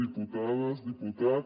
diputades diputat